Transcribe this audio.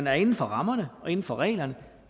er inden for rammerne og inden for reglerne